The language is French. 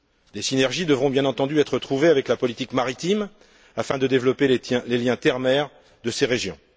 Des synergies devront bien entendu être trouvées avec la politique maritime afin de développer les liens terre mer de ces régions.